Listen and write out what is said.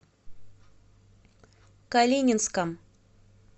калининском